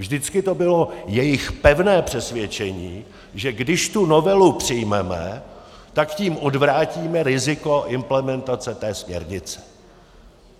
Vždycky to bylo jejich pevné přesvědčení, že když tu novelu přijmeme, tak tím odvrátíme riziko implementace té směrnice.